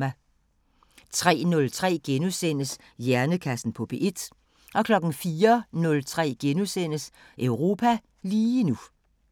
03:03: Hjernekassen på P1 * 04:03: Europa lige nu *